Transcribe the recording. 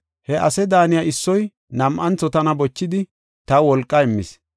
He ase daaniya issoy nam7antho tana bochidi, taw wolqa immis.